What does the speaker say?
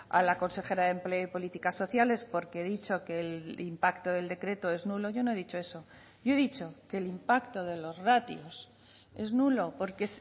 a la consejera de empleo y políticas sociales porque he dicho que el impacto del decreto es nulo yo no he dicho eso yo he dicho que el impacto de los ratios es nulo porque